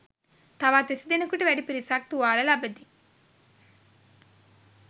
තවත් විසි දෙනෙකුට වැඩි පිරිසක් තුවාල ලබති.